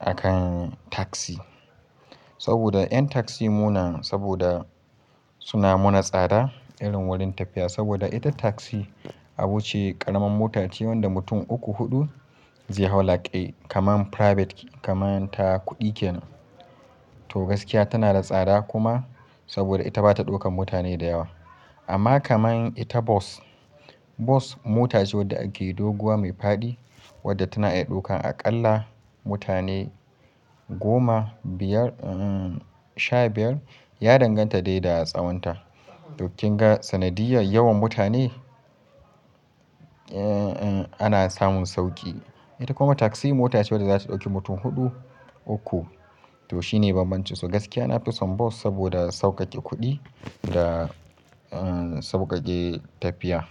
akan taksi. Saboda 'yan taksi muna, saboda suna muna tsada irin wurin tafiya. Saboda ita taksi abuce karamar mota ce wadda mutum uku hudu zai hau like a kaman private, kaman ta kuɗi kenan. To gaskiya tana da tsada kuma saboda ita bata ɗaukan mutane da yawa. Amma kaman ita bus, bus mota ce wadda ake doguwa mai faɗi wadda tana iya ɗaukan aƙalla mutane goma, biyar, eh sha biyar, ya danganta dai da a tsawonta. Duk kin ga sanadiyar yawan mutane, eh ana samun sauƙi. Ita kuma taksi mota ce wadda za su ɗauki mutum huɗu, uku to shine bambancinsu. Gaskiya na fi son bus saboda sauƙaƙe kuɗi da eh sauƙaƙe tafiya.